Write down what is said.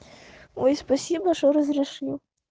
ой спасибо что разрешил